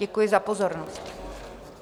Děkuji za pozornost.